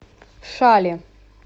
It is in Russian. шали